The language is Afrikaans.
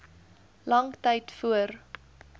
lang tyd voor